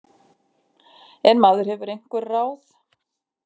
En maður hefur einhver ráð.